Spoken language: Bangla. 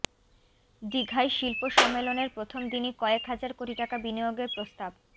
দিঘায় শিল্প সম্মেলনের প্রথম দিনই কয়েক হাজার কোটি টাকা বিনিয়োগের প্রস্তাব